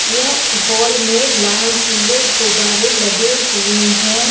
यह ए हॉल में लाल पिले गुबारे लगे हुए हैं।